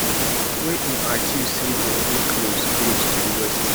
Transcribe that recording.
wey im accuse say dem dey close close to di west